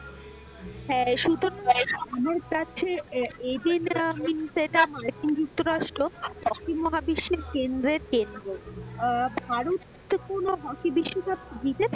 হ্যাঁ মার্কিন যোক্তরাষ্ট্র হকি মহাবিশ্বে কেন্দ্রের কেন্দ্র আহ ভারত হকি বিশ্বকাপ জিতেছে?